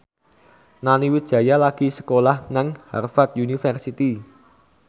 Nani Wijaya lagi sekolah nang Harvard university